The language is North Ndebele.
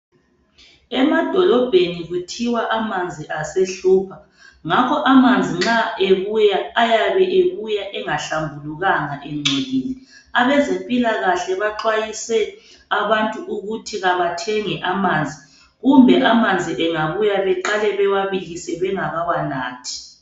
Emadolobheni kuthiwa amanzi asehlupha. Ngakho amanzi nxa ebuya ayabe ebuya engahlambulukanga engcolile. Abezempilakahle baxwayise abantu ukuthi abathenge amanzi kumbe amanzi engabuya beqale bewabilise bengakawanathi.